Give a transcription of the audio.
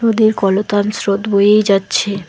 নদীর কলতান স্রোত বয়েই যাচ্ছে।